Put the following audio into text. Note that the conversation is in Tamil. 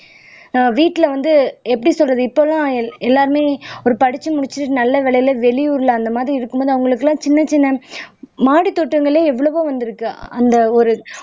ஆஹ் வீட்ல வந்து எப்படி சொல்றது இப்பல்லாம் எல்லாருமே ஒரு படிச்சு முடிச்சுட்டு நல்ல வேலையில வெளியூர்ல அந்த மாதிரி இருக்கும்போது அவங்களுக்கு எல்லாம் சின்னச் சின்ன மாடி தோட்டங்களே எவ்வளவோ வந்திருக்கு அந்த ஒரு